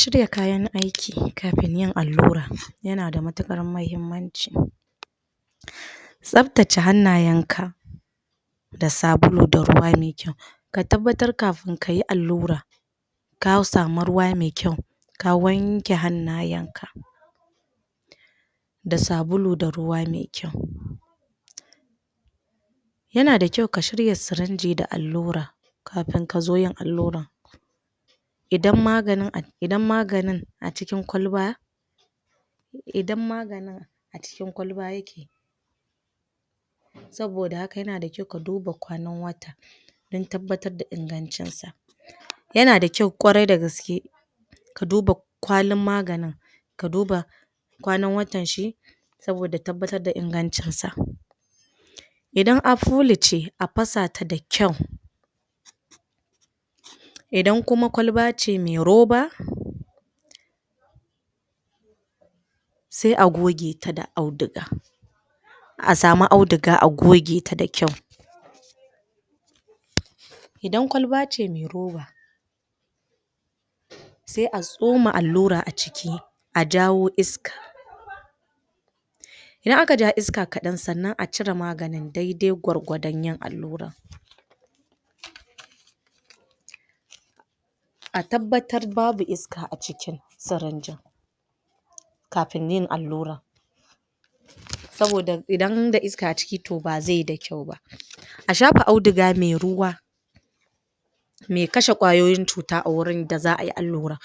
Shirya kayan aiki kafin yin allura yana da matuƙar mahimmanci tsaftace hannayenka da sabulu da ruwa mai kyau ka tabbatar kafin ka yi allura ka samu ruwa mai kyau ka wanke hannayen da sabulu da ruwa mai kyau yana da kyau ka shirya sirinji da allura kafin ka zo yin alluran idan maganin a idan maganin a cikin kwalba idan maganin a cikin kwalba yake saboda haka yana da kyau ka duba kwannan wata dan tabbatar da ingancinsa yana da kyau ƙwarai da gaske ka duba kwalin maganin ka duba kwanan watanshi saboda tabbatar da ingancinsa idan afulu ce a fasata da kyau idan kuma kwalba ce mai roba sai a gogeta da auduga a samu auduga a gogeta da kyau idan kwalba ce mai roba sai a tsoma allura a ciki a jawo iska idan aka ja iska kaɗan sannan a cire maganin daidai gwargwadon yin alluran a tabbatar babu iska a cikin sirinjin kafin yin allura saboda idan da iska a ciki to ba zai yi da kyau ba a shafa auduga mai ruwa mai kashe ƙwayoyin cuta a wurin da za ayi allura